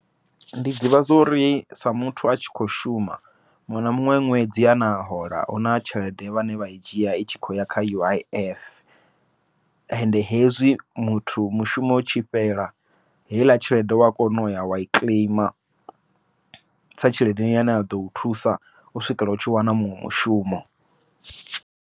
Ndi ḓivha zwori sa muthu a tshi kho shuma, muṅwe na muṅwe ṅwedzi une a hola huna tshelede vhane vha i dzhia i tshi khou ya kha U_I_F. Ende hezwi muthu mushumo u tshi fhela, heiḽa tshelede wa kona uya wai kiḽeima sa tshelede yane ya ḓo u thusa u swikela u tshi wana muṅwe mushumo.